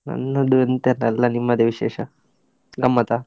ನನ್ನದು ಎಂತ ಇಲ್ಲ, ಎಲ್ಲ ನಿಮ್ಮದೇ ವಿಶೇಷ, ಗಮ್ಮತಾ?